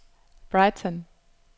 Brighton